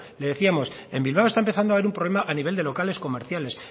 le decíamos en bilbao está empezando a haber un problema a nivel de locales comerciales